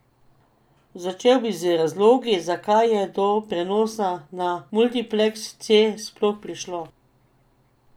Začel bi z razlogi, zakaj je do prenosa na multipleks C sploh prišlo.